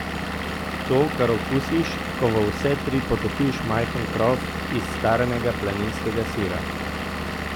To, kar okusiš, ko v vse tri potopiš majhen krof iz staranega planinskega sira!